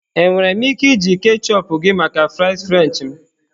Enwere m ike iji ketchup gị maka fries french m?